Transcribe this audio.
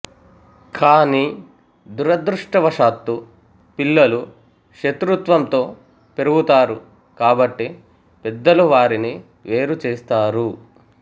కానీ దురదృష్టవశాత్తు పిల్లలు శత్రుత్వంతో పెరుగుతారు కాబట్టి పెద్దలు వారిని వేరు చేస్తారు